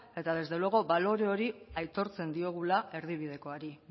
eta desde luego balore hori aitortzen diogula erdibidekoari